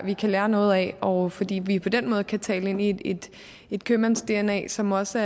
vi kan lære noget af og fordi vi på den måde kan tale ind i et i et købmands dna som også